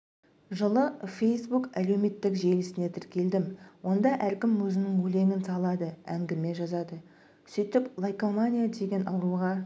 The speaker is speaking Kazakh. жылы фейсбук әлеуметтік желісіне тіркелдім онда әркім өзінің өлеңін салады әңгіме жазады сөйтіп лайкомания деген ауруға